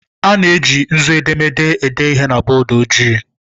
A na-eji nzu edemede ede ihe na bọọdụ ojii.